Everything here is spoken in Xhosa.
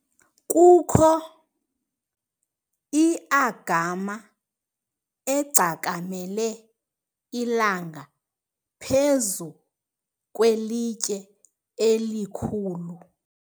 kukho i-agama egcakamele ilanga phezu kwelitye elikhulu